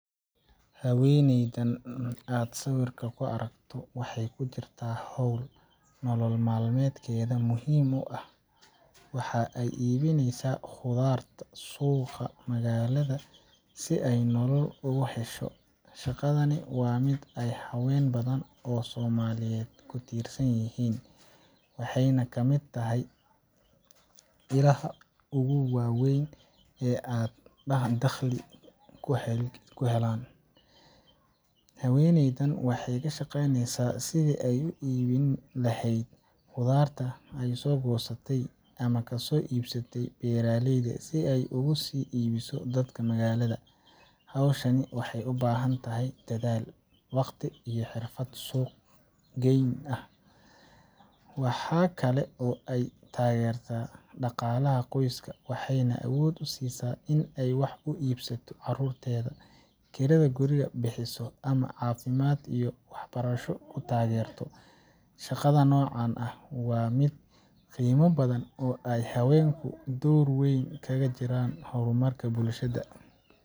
Haweeneydan aad sawirka ku aragto waxay ku jirtaa hawl nolol maalmeedkeeda muhiim u ah waxa ay iibinaysaa khudaar suuqa magaalada si ay nolol ugu hesho. Shaqadani waa mid ay haween badan oo Soomaaliyeed ku tiirsan yihiin, waxayna ka mid tahay ilaha ugu waaweyn ee ay dakhli ku helaan. Haweeneydan waxay ka shaqaynaysaa sidii ay u iibin lahayd khudaarta ay soo goostay ama ka soo iibsatay beeraleyda si ay ugu sii iibiso dadka magaalada. Hawshaasi waxay u baahan tahay dadaal, waqti, iyo xirfad suuq geyn ah. Waxa kale oo ay taageertaa dhaqaalaha qoyska, waxayna awood u siisaa in ay wax u iibsato carruurteeda, kirada guriga bixiso, ama caafimaad iyo waxbarasho ku taageerto. Shaqada noocan ah waa mid qiimo badan oo ay haweenku door weyn kaga jiraan horumarka bulshada.